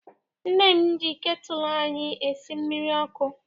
Nne m ji ketụlụ anyị esi mmiri ọkụ.